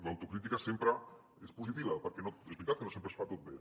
l’auto·crítica sempre és positiva perquè és veritat que no sempre es fa tot bé